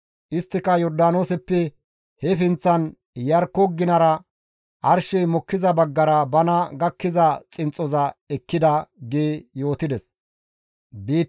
Isttika Yordaanooseppe he pinththan Iyarkko ginara arshey mokkiza baggara bana gakkiza xinxxoza ekkida» gi yootides.